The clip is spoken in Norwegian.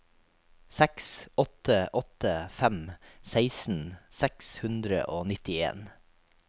seks åtte åtte fem seksten seks hundre og nittien